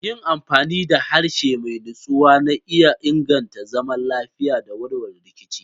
Yin amfani da harshe mai natsuwa na iya inganta zaman lafiya da warware rikici.